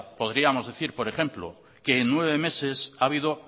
podríamos decir por ejemplo que en nueve meses ha habido